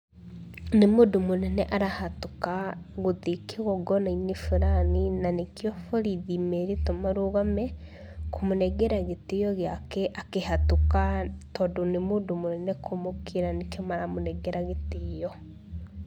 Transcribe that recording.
Nĩ mũndũ mũnene arahetũka gũthiĩ kĩgongona-inĩ fulani na nĩkĩo borithi merĩtwo marũgame kũmũnengera gĩtĩo gĩake akĩhetũka, tondũ nĩ mũndũ mũnene kũmũkĩra nĩkĩo maramũnengera gĩtĩo.